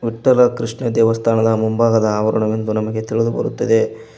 ವಿಠ್ಠಲ ಕೃಷ್ಣ ದೇವಸ್ಥಾನದ ಮುಂಭಾಗದ ಆವರಣವೆಂದು ನಮಗೆ ತಿಳಿದು ಬರುತ್ತದೆ.